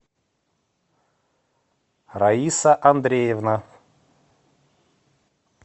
раиса андреевна